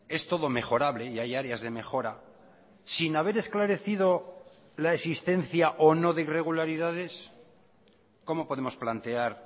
es todo mejorable y hay áreas de mejora sin haber esclarecido la existencia o no de irregularidades cómo podemos plantear